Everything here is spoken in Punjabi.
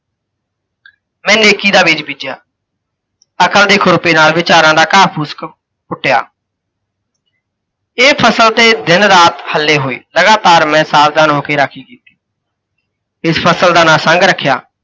ਮੈਂ ਨੇਕੀ ਦਾ ਬੀਜ ਬੀਜਿਆ। ਤਥਾਂ ਦੇ ਖੁਰਪੇ ਨਾਲ ਵਿਚਾਰਾਂ ਦਾ ਘਾਹ ਫੂਸ ਕ ਕੁੱਟਿਆ। ਇਹ ਫ਼ਸਲ ਤੇ ਦਿਨ ਰਾਤ ਹੱਲੇ ਹੋਏ, ਲਗਾਤਾਰ ਮੈਂ ਸਾਵਧਾਨ ਹੋਕੇ ਰਾਖੀ ਕੀਤੀ, ਤੇ ਇਸ ਫ਼ਸਲ ਦਾ ਨਾਂ ਸੰਘ ਰੱਖਿਆ।